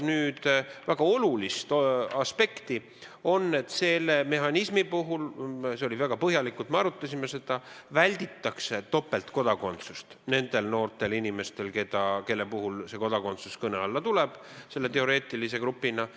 Väga oluline aspekt on see, et selle mehhanismi puhul – me arutasime seda väga põhjalikult – välditakse topeltkodakondsust nendel noortel inimestel, kelle puhul see kodakondsus kõne alla tuleb, selle teoreetilise grupi puhul.